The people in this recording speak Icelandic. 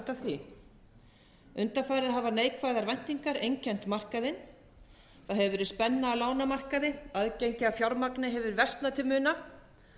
því undanfarið hafa neikvæðar væntingar einkennt markaðinn og hefur verið spenna á lánamarkaði aðgengi að fjármagni hefur versnað til muna